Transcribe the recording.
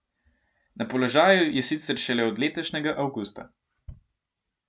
Na položaju je sicer šele od letošnjega avgusta.